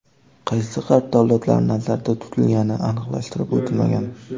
Qaysi G‘arb davlatlari nazarda tutilgani aniqlashtirib o‘tilmagan.